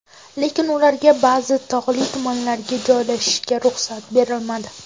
Lekin ularga ba’zi tog‘li tumanlarga joylashishga ruxsat berilmadi.